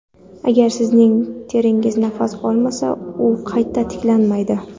Agar sizning teringiz nafas olmasa u qayta tiklanmaydi.